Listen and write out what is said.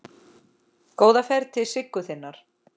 Góða ferð til Siggu þinnar.